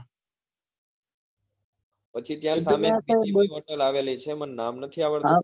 પછી ત્યાં બીજી hotel આવેલી છે મને નામ નથી આવડતું